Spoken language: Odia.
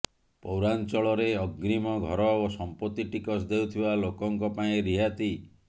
ପୌରାଞ୍ଚଳରେ ଅଗ୍ରୀମ ଘର ଓ ସମ୍ପତ୍ତି ଟିକସ ଦେଉଥିବା ଲୋକଙ୍କ ପାଇଁ ରିହାତି